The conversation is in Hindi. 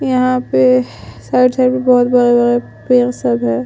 यहाँ पे साइड साइड में बहुत बड़ा - बड़ा पेड़ सब है।